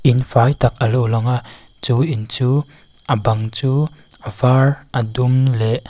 in fai tak alo lang a chu in chu a bang chu a var a dum leh--